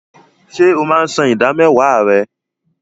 Ṣé o máa ń san ìdámẹ́wàá rẹ?